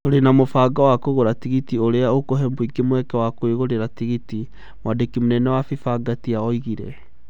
"Tũrĩ na mũbango wa kũgũra tigiti ũrĩa ũkũhe mũingĩ mweke wa kũĩgũrĩra tigiti", mwandĩki mũnene wa FIFA Ngatia oigire.